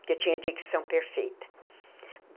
porque eu tinha dicção perfeita.